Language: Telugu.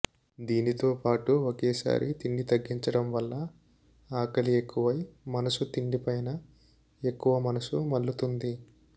దీనితో పాటు ఒకేసారి తిండి తగ్గించడం వల్ల ఆకలి ఎక్కువై మనసు తిండి పైన ఎక్కువ మనసు మళ్లుతుంది